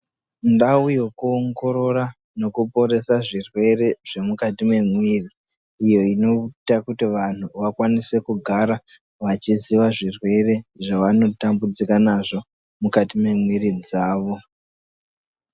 Ndau yekuongorora nekuporesa zvirwere zvemukati memuiri uye inoita kuti vantu kugara vachiziya zvirwere zvavanotambudzika nazvo mukati memuiri dzavo.